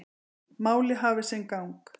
Málið hafi sinn gang.